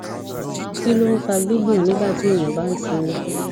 kí ló ń fa gbigbon nigba ti eyan ba n simi